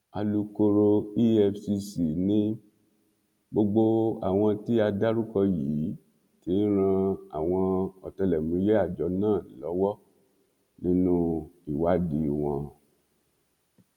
alūkkóró efcc ni gbogbo àwọn tí a dárúkọ yìí ti ń ran àwọn ọtẹlẹmúyẹ àjọ náà lọwọ nínú ìwádìí wọn